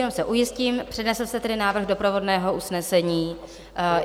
Jenom se ujistím, přednesl jste tedy návrh doprovodného usnesení?